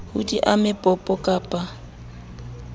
ha di ame popo kappa